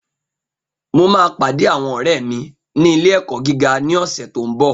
Mo máa pàdé àwọn ọ̀rẹ́ mi ní ilé-ẹ̀kọ́ gíga ní ọ̀sẹ̀ tó n bọ̀